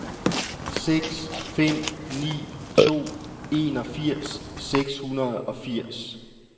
seks fem ni to enogfirs seks hundrede og firs